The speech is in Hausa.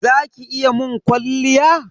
Za ki iya mun kwalliya?